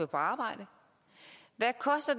bare